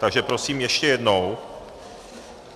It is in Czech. Takže prosím ještě jednou.